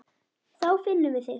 Þá finnum við þig.